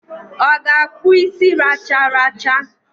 O ga-akpu isi racharacha?